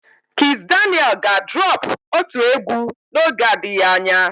Kizz Daniel ga droọpu otu egwu n'oge adịghị anya.